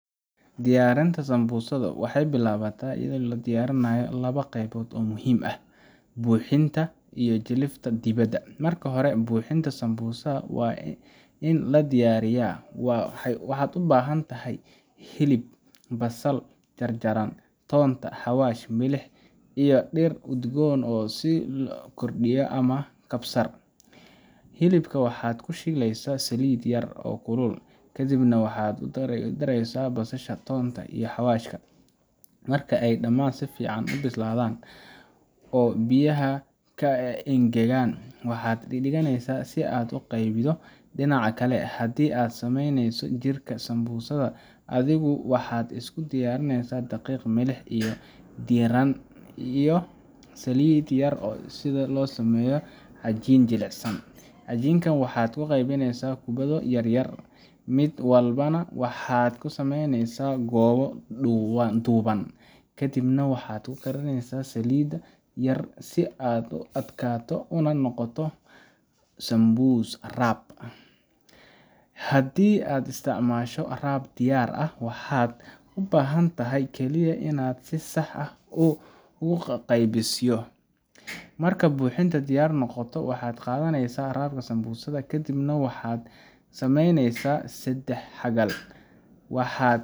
Diyaarinta Sambusa waxay ku bilaabataa diyaarinta laba qaybood oo muhiim ah: buuxinta iyo jilifta dibadda . Marka hore, buuxinta sambusada waa in la diyaariyaa. Waxaad u baahan doontaa hilib , basal jarjaran, toonta, xawaash, milix, iyo dhir udgoon sida kordiya ama kabsar. Hilibka waxaad ku shiilaysaa saliid yar oo kulul, kadibna waxaad ku darsaysaa basasha, toonta iyo xawaashka. Marka ay dhammaan si fiican u bislaadaan oo biyihii ka engegaan, waxaad dhiganaysaa si ay u qabowdo. Dhinaca kale, haddii aad samaynayso jirka sambusada adigu, waxaad isku diyarineysa daqiiq, milix, biyo diirran, iyo saliid yar si aad u sameyso cajiin jilicsan. Cajiinka waxaad u qaybineysaa kubbado yaryar, mid walbana waxaad ka samaynaysaa goobo dhuuban, kadibna waxaad ku karisaa saliid yar si ay u adkaato una noqoto sambusa wrap. Haddii aad isticmaasho wrap diyaar ah, waxaad u baahan tahay kaliya inaad si sax ah u qaabayso. Marka buuxinta diyaar noqoto, waxaad qaadaysaa wrap sambusa ah, kadibna waxaad ka samaynaysaa saddex-xagal